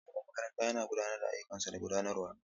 Shugaban makarantar yana gudanar da ayyukansa na gudanarwa.